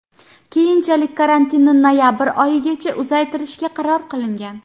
Keyinchalik karantinni noyabr oyigacha uzaytirishga qaror qilingan .